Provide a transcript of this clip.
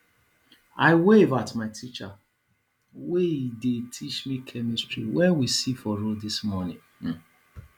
i wave at my teacher wey dey teach me chemistry wen we see for road dis morning um